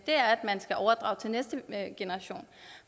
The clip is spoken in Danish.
være at man skal overdrage til næste generation